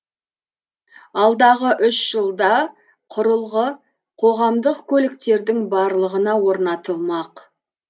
алдағы үш жылда құрылғы қоғамдық көліктердің барлығына орнатылмақ